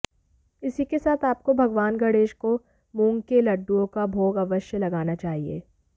इसी के साथ आपको भगवान गणेश को मूंग के लड्डूओं का भोग अवश्य लगाना चाहिए